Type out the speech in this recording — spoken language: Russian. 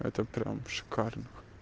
это прям шикарно